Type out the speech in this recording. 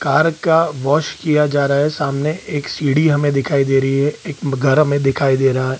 Car का wash किया जा रहा है सामने एक सीढ़ी हमें दिखाई दे रही है एक घर हमें दिखाई दे रहा है ।